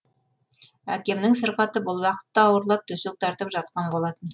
әкемнің сырқаты бұл уақытта ауырлап төсек тартып жатқан болатын